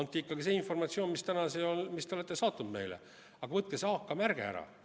Andke ikka see informatsioon, mille te olete saatnud meile, aga võtke see AK-märge ära.